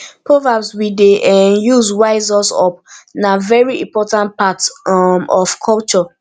proverbs we dey um use wise us up na very important part um of culture